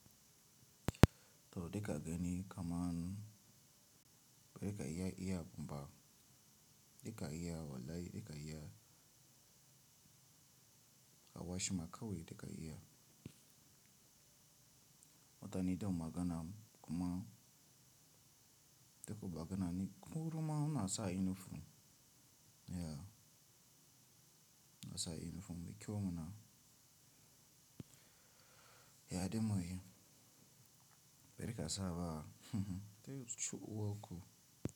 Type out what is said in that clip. To da ga gani kaman bari ka iya iya kuma duka iya wallai duka iya ka washi ma kawai duka iya. Wata niton magana kuma da kuka gana ni kurma kuna sa inifom. Yea, kuna sa inifom bakiya muna. Yea, da muyi bari ka saba. Zai ci uwar ku.